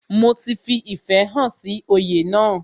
Mo fi ìfẹ́ hàn sí oyè náà